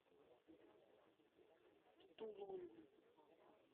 тулун